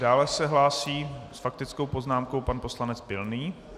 Dále se hlásí s faktickou poznámkou pan poslanec Pilný.